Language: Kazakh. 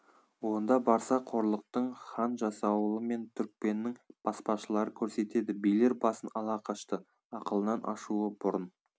онда барса қорлықты хан жасауылы мен түрікпеннің баспашылары көрсетеді билер басын ала қашты ақылынан ашуы бұрын